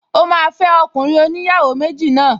Ó máa fẹ́ ọkùnrin oníyàwó méjì náà